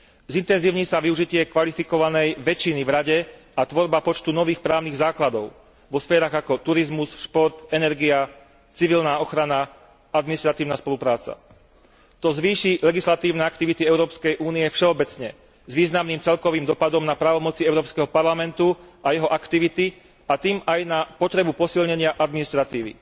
Zintenzívni sa využitie kvalifikovanej väčšiny v Rade a tvorba počtu nových právnych základov vo sférach ako turizmus, šport, energia, civilná ochrana, administratívna spolupráca. To zvýši legislatívne aktivity Európskej únie všeobecne s významným celkovým dosahom na právomoci Európskeho parlamentu a jeho aktivity, a tým aj na potrebu posilnenia administratívy.